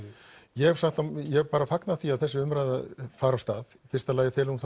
ég ég fagna því að þessi umræða fari af stað í fyrsta lagi felur hún